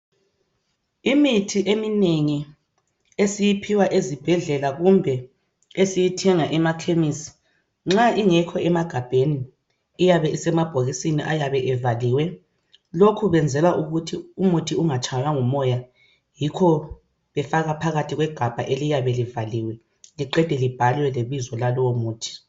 Imithi eminengi esiyiphiwa ezibhedlela kumbe esiyithenga emakhemisi nxa ingekho emagabheni iyabe isemabhokisini ayabe evaliwe. Lokhu bayenzela ukuthi umuthi ungatshaywa ngumoya yikho befaka phakathi kwegabha eliyabe livaliwe liqede libhalwe lebizo lalowo muthi.